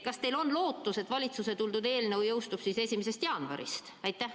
Kas teil on lootus, et valitsuse toodud eelnõus toodu jõustub 1. jaanuaril?